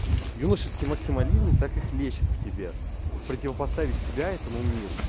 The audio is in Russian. юношеский максимализм так и хлещет в тебе противопоставить себя этому миру